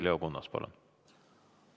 Leo Kunnas, palun!